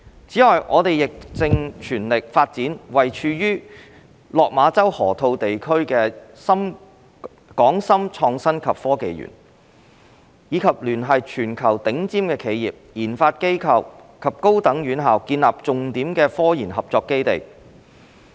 此外，我們亦正全力發展位處落馬洲河套地區的港深創新及科技園，以聯繫全球頂尖企業、研發機構和高等院校建立重點科研合作基地。